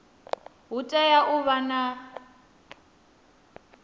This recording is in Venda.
hu tea u vha na